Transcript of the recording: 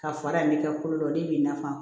Ka fara in ne kɛ kolo dɔ de b'i na